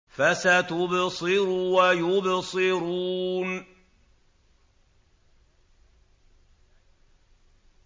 فَسَتُبْصِرُ وَيُبْصِرُونَ